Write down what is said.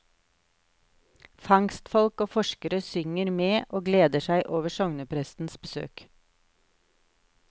Fangstfolk og forskere synger med og gleder seg over sogneprestens besøk.